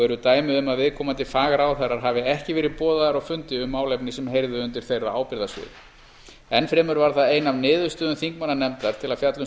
eru dæmi um að viðkomandi fagráðherrar hafi ekki verið boðaðir á fundi um málefni sem heyrðu undir þeirra ábyrgðarsvið enn fremur var það ein af niðurstöðum þingmannanefndar til að fjalla um